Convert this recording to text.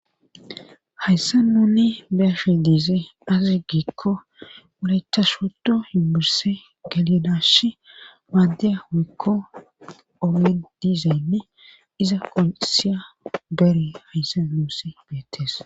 Hayssa nuni beashi dize azi gikko ulayta shoto himburse galinashi maade wekko omen dizaynne iza kosiya bere hayssa yumusse beetes.